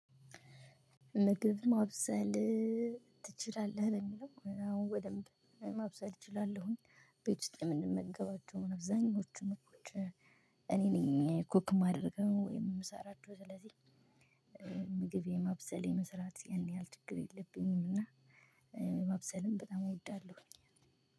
ምግብ ማብሰል ትችላለህ? ለሚለው አሁን በደንብ ማብሰል እችላለሁኝ። ቤት ውስጥ የምንመገባቸው አብዛኞቹን። እኔ ነኝ ኩክ የማደርገው ወይም የምሰራቸው ስለዚህ ምግቤ ማብሰል የመስራት ያን ያህል ችግር የለብኝም። እና ማብሰልም በጣም እወዳለሁ።